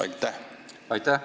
Aitäh!